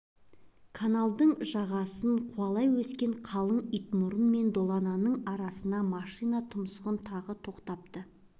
каналдың жағасын қуалай өскен қалың итмұрын мен долананың арасына машина тұмсығын тыға тоқтапты